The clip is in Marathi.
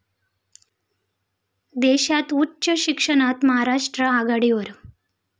देशात उच्च शिक्षणात महाराष्ट्र आघाडीवर